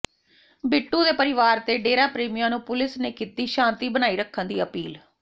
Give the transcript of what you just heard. ਬਿੱਟੂ ਦੇ ਪਰਿਵਾਰ ਤੇ ਡੇਰਾ ਪ੍ਰੇਮੀਆਂ ਨੂੰ ਪੁਲਿਸ ਨੇ ਕੀਤੀ ਸ਼ਾਂਤੀ ਬਣਾਈ ਰੱਖਣ ਦੀ ਅਪੀਲ